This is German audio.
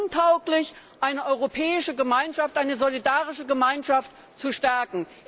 Diese Ansatz ist untauglich, eine europäische Gemeinschaft, eine solidarische Gemeinschaft zu stärken.